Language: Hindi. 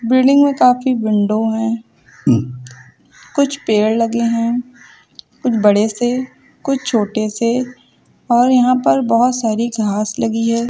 बिल्डिंग में काफी विंडो हैं। कुछ पेड़ लगे हैं। कुछ बड़े से कुछ छोटे से और यहां पर बहोत सारी घास लगी हैं।